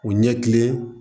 U ɲɛ kilenlen